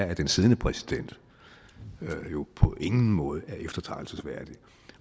at den siddende præsident på ingen måde er eftertragtelsesværdig